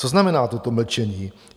Co znamená toto mlčení?